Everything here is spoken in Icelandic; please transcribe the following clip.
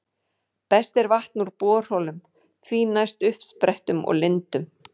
Best er vatn úr borholum, því næst uppsprettum og lindum.